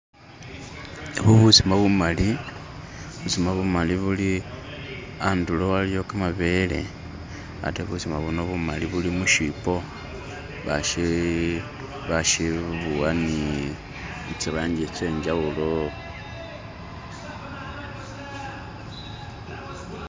Ebu busima bumali, busima bumali buli, handulo haliwo kamabele atee busima buno bumali buli muchibo bashibuwa ni zilangi zenjawulo